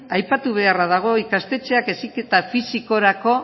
aipatu beharra dago ikastetxeak heziketa fisikorako